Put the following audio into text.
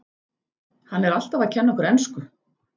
Hann er alltaf að kenna okkur ensku!